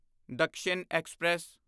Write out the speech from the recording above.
Dakshin express